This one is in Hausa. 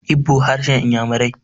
Igbo harshen inyamirai